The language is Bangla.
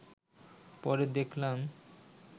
পরে দেখলাম